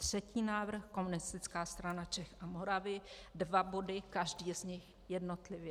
Třetí návrh, Komunistická strana Čech a Moravy, dva body, každý z nich jednotlivě.